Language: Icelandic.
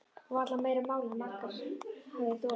Og varla meira mál en margur hafði þolað.